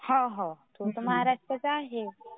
हो हो तो तर महाराष्ट्रातला आहे.